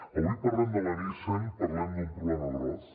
avui parlem de nissan parlem d’un problema gros